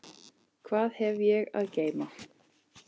Hvað hef ég að geyma?